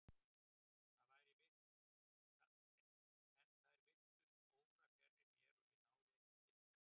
En þær virtust órafjarri mér og ég náði ekki til þeirra.